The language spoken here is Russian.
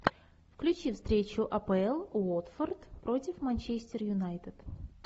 включи встречу апл уотфорд против манчестер юнайтед